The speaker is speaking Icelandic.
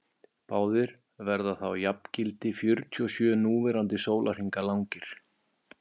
báðir verða þá jafngildi fjörutíu og sjö núverandi sólarhringa langir